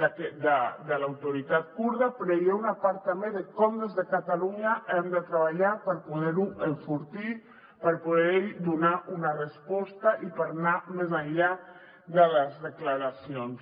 de l’autoritat kurda però hi ha una part també de com des de catalunya hem de treballar per poder ho enfortir per poder hi donar una resposta i per anar més enllà de les declaracions